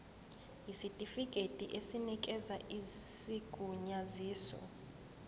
yisitifikedi esinikeza isigunyaziso